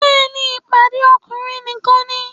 Bẹ́ẹ̀ni, ìpàdé ọkùnrin nìkan ni